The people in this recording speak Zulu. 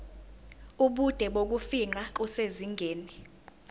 ubude bokufingqa kusezingeni